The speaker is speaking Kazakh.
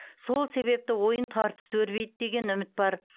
сол себепті ойын тартысты өрбиді деген үміт бар